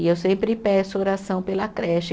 E eu sempre peço oração pela creche.